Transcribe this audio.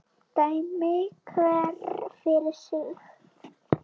Dæmi hver fyrir sig.